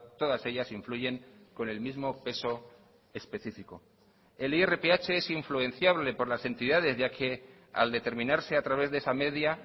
todas ellas influyen con el mismo peso específico el irph es influenciable por las entidades ya que al determinarse a través de esa media